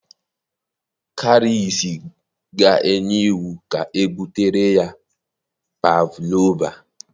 Karice ga enye iwu ka ebutere ya pavlova